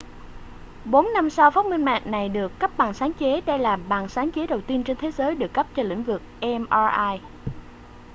bốn năm sau phát minh này được cấp bằng sáng chế đây là bằng sáng chế đầu tiên trên thế giới được cấp cho lĩnh vực mri